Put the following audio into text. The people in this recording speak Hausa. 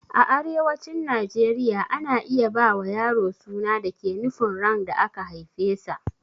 A arewacin najeriya ana iya ba wa yaro suna da ke nufin ran da aka haifesa